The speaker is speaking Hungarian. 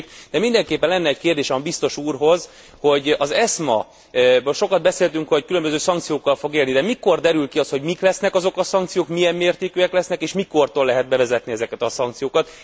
De mindenképpen lenne egy kérdésem a Biztos úrhoz, hogy az ESMA sokat beszéltünk róla, hogy különböző szankciókkal fog élni de mikor derül ki az, hogy mik lesznek azok a szankciók, milyen mértékűek lesznek és mikortól lehet bevezetni ezeket a szankciókat.